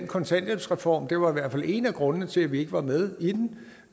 kontanthjælpsreformen det var i hvert fald en af grundene til at vi ikke var med i den